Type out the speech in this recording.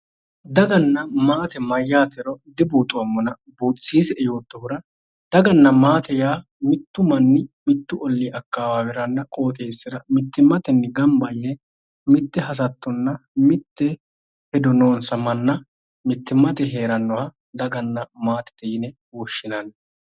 Daganna maate yaa mayyate dibuuxoommona buxisiissie yoottohura mittu manni mitte akkawaaweranna qooxeessira gamba yeee mitte hasattonna mitte hedo noonsa manna mittimmateeyi heerannoha daganna maate yine woshshinanni.